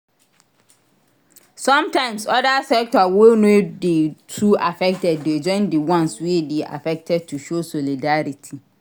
Sometimes other sector wey no de too affected de join di ones wey de affected to show solidarity